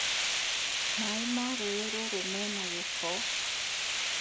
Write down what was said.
Maĩ ma rũĩ rũrũmena gĩko